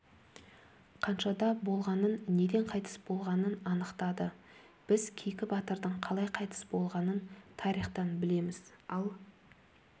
қаншада болғанын неден қайтыс болғанын анықтады біз кейкі батырдың қалай қайтыс болғанын тарихтан білеміз ал